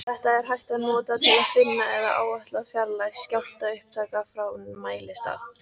Þetta er hægt að nota til að finna eða áætla fjarlægð skjálftaupptaka frá mælistað.